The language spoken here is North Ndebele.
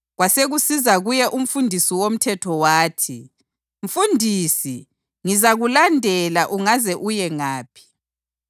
Kwasekusiza kuye umfundisi womthetho wathi, “Mfundisi, ngizakulandela ungaze uye ngaphi.”